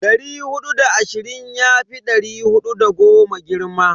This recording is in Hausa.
Dari hudu da ashirin yafi dari hudu da goma girma.